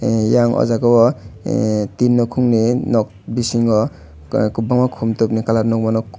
e yang o jagao o e tin nukhungni nok bisingo kwbangma khum tokni colour nukmano.